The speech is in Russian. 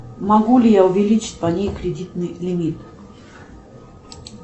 могу ли я увеличить по ней кредитный лимит